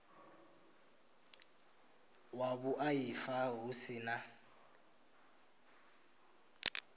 wa vhuaifa hu si na